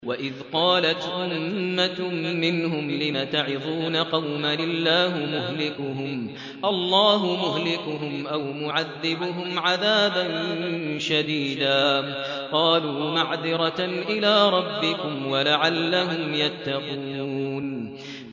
وَإِذْ قَالَتْ أُمَّةٌ مِّنْهُمْ لِمَ تَعِظُونَ قَوْمًا ۙ اللَّهُ مُهْلِكُهُمْ أَوْ مُعَذِّبُهُمْ عَذَابًا شَدِيدًا ۖ قَالُوا مَعْذِرَةً إِلَىٰ رَبِّكُمْ وَلَعَلَّهُمْ يَتَّقُونَ